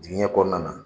Digɛn kɔnɔna na